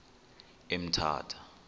emthatha